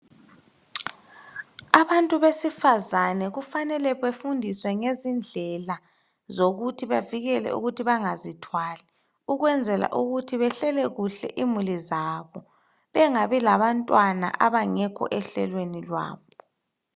Abantu besifazane kufanele befundiswe ngezindlela zokuthi bavikele ukuthi bangazithwali ukwenzela ukuthi behlele kuhle imuli zabo, bengabi labantwana abangekho ehlelweni zabo.